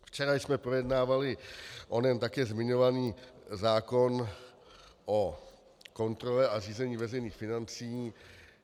Včera jsme projednávali onen také zmiňovaný zákon o kontrole a řízení veřejných financí.